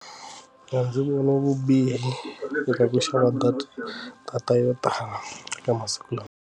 Mina ndzi vona vubihi eka ku xava data data yo tala ka masiku lawa.